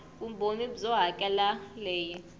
vumbhoni byo hakela r leyi